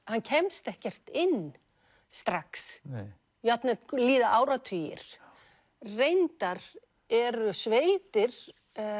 hann kemst ekkert inn strax jafnvel líða áratugir reyndar eru sveitir